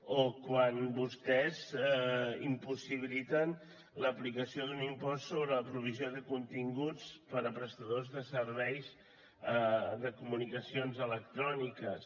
o quan vostès impossibiliten l’aplicació d’un impost sobre la provisió de continguts per a prestadors de serveis de comunicacions electròniques